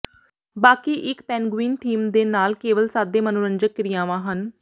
ਬਾਕੀ ਇੱਕ penguin theme ਦੇ ਨਾਲ ਕੇਵਲ ਸਾਦੇ ਮਨੋਰੰਜਕ ਕਿਰਿਆਵਾਂ ਹਨ